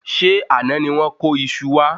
Ṣé àná ni wón kó iṣu wa?